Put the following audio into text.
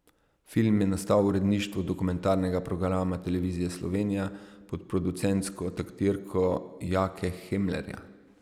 Film je nastal v uredništvu dokumentarnega programa Televizije Slovenija, pod producentsko taktirko Jake Hemlerja.